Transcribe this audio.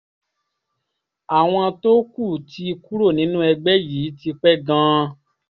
àwọn tó kù ti kúrò nínú ẹgbẹ́ yìí tipẹ́ gan-an